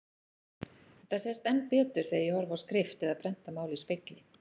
Þetta sést enn betur þegar ég horfi á skrift eða prentað mál í spegli.